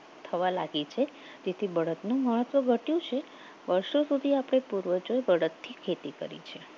થવા લાગી છે તેથી બળદનું મહત્વ ઘટ્યું છે વર્ષો સુધી આપણે પૂર્વજો બળદ થી ખેતી કરી છે